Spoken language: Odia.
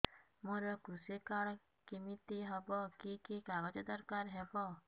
ମୋର କୃଷି କାର୍ଡ କିମିତି ହବ କି କି କାଗଜ ଦରକାର ହବ